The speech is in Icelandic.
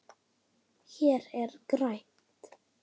Hér er grænt.